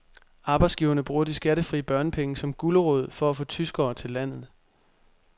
Arbejdsgiverne bruger de skattefri børnepenge som gulerod for at få tyskere til landet.